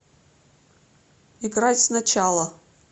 играть сначала